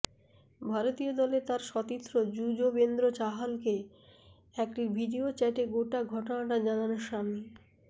ভারতীয় দলে তাঁর সতীর্থ যুজবেন্দ্র চাহালকে একটি ভিডিও চ্যাটে গোটা ঘটনাটা জানান শামি